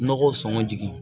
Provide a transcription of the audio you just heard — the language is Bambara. Nɔgɔ sɔngɔ jigin